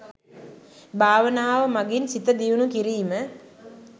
භාවනාව මගින් සිත දියුනු කිරීම